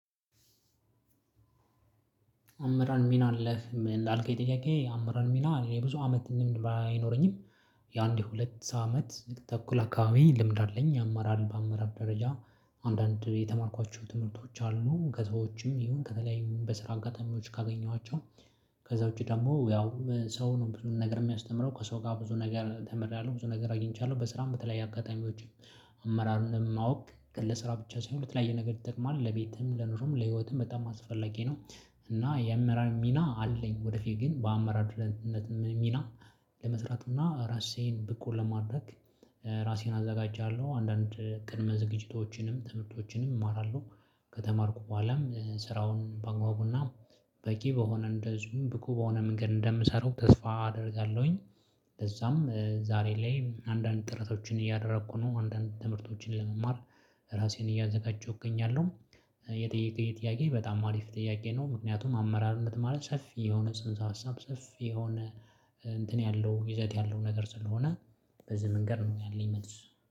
አምራን ሚና አለክ ላልከኝ ጥያቄ አምራን ሚና የ ብዙ አመት ልምድ ባይኖረኝም። የአንድ የሁለት አመት ተኩል አካባቢ ልምድ አለኝ። አመራር በአመራር ደረጃ አንዳንድ የተማርኳቸው ትምህርቶች አሉ ከዛውጭም ይሁን ከተለያዩ በስራ አጋጣሚዎች ካገኘኋቸው። ከዛ ውጪ ደግሞ ያው ሰው ነው ብዙ ነገር የሚያስተምረው ከሰው ጋር ብዙ ነገር ተምሬያለሁ። ብዙ ነገር አግኝቻለሁ በስራም በተለያየ አጋጣሚዎች። አመራሩን ማወቅ ገለ ስራ ብቻ ሳይሆን ለተለያየ ነገር ይጠቅማል ለቤትም ለኑሮም ለህይወትም በጣም አስፈላጊ ነው። እና የአመራር ሚና አለኝ ወደፊት ግን በአመራርነት ሚና። ለመስራትና እና ራሴን ብቁ ለማድረግ ራሴን አዘጋጃለሁ አንዳንድ ቅድመ ዝግጅቶችንም ትምህርቶችንም እማራለሁ። ከተማርኩ በኋላም ስራውን በአግባቡና በቂ በሆነ እንደዚሁም ብቁ በሆነ መንገድ እንደምሰራው ተስፋ አደርጋለሁኝ። ለዛም ዛሬ ላይ አንዳንድ ጥረቶችን እያደረኩ ነው አንዳንድ ትምህርቶችን ለመማር ራሴን እያዘጋጀሁኝ እገኛለሁ። የጠየከኝ ጥያቄ በጣም አሪፍ ጥያቄ ነው። ምክንያቱም አመራርነት ማለት ሰፊ የሆነ ጽንሰ ሀሳብ ሰፊ የሆነ እንትን ያለው ይዘት ያለው ነገር ስለሆነ። በዚህ መንገድ ነው ያለኝ መልስ።